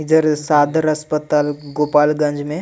एजर सदर अस्पाताल गोपालगंज में--